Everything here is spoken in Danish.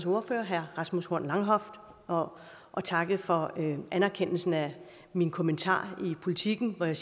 ordfører herre rasmus horn langhoff og og takke for anerkendelsen af min kommentar i politiken hvor jeg